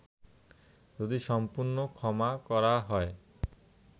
যদি সম্পূর্ণ ক্ষমা করা হয়